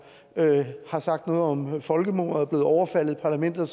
har sagt noget om folkemordet er blevet overfaldet i parlamentet og